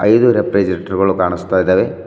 ಇದು ರೆಫ್ರಿಜೆರೇಟರ್ ಗುಳ್ ಕಾಣಿಸ್ತಾ ಇದಾವೆ.